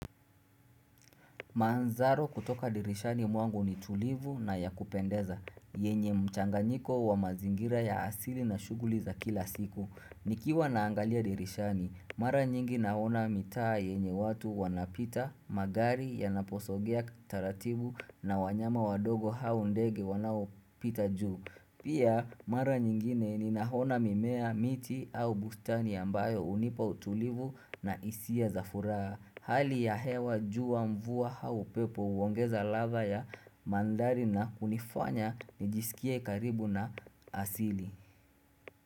Manzaro kutoka dirishani mwangu ni tulivu na ya kupendeza, yenye mchanganyiko wa mazingira ya asili na shuguli za kila siku. Nikiwa naangalia dirishani, mara nyingi naona mitaa yenye watu wanapita, magari yanaposogea taratibu na wanyama wadogo haundege wanao pita juu. Pia, mara nyingine ni nahona mimea miti au bustani ambayo unipa utulivu na isia zafuraha. Hali ya hewa jua mvua au upepo huongeza ladha ya mandhari na kunifanya nijisikie karibu na asili.